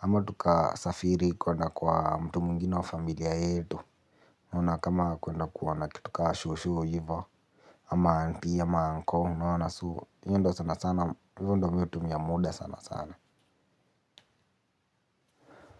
ama tukasafiri kuenda kwa mtu mwengine wa familia yetu. Unaona kama kuenda kuona kitu ka shosho hivo. Ama auntie, ama uncle unaona so, hii ndo sana sana, hivo ndo mi hutumia muda sana sana.